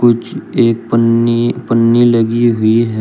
कुछ एक पन्नी पन्नी लगी हुई है।